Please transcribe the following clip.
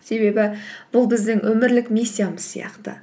себебі бұл біздің өмірлік миссиямыз сияқты